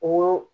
O